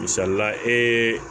Misalila ee